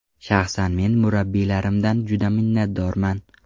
Shaxsan men murabbiylarimdan juda minnatdorman.